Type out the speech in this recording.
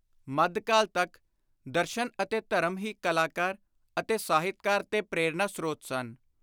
ਮੱਧਕਾਲ ਤਕ ਦਰਸ਼ਨ ਅਤੇ ਧਰਮ ਹੀ ਕਲਾਕਾਰ ਅਤੇ ਸਾਹਿਤਕਾਰ ਦੇ ਪ੍ਰੇਰਣਾ-ਸ੍ਰੋਤ ਸਨ।